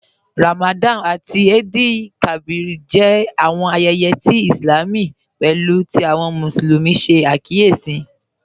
Ramadan àtí Eid-el-Kabir jẹ́ àwọn ayéyé Ìslám pátákí tí àwọn Musulumi ṣẹ̀ àkíyèsí